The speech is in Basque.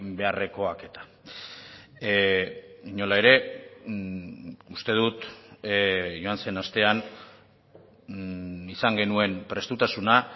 beharrekoak eta inola ere uste dut joan zen astean izan genuen prestutasuna